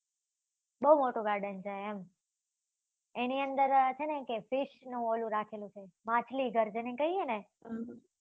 બઉ મોટું garden છે એમ એની અંદર છે ને કે fish નું ઓલું રાખેલું છે માછલી ઘર જેને કહીએ ને